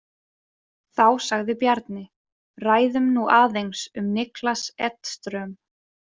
Þá sagði Bjarni: Ræðum nú aðeins um Niklas Edström.